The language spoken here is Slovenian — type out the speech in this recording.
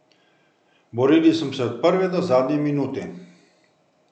Borili smo se od prve do zadnje minute.